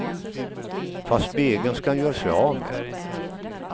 Fast spegeln ska han göra sig av med.